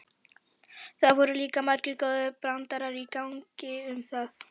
Það voru líka margir góðir brandarar í gangi um það.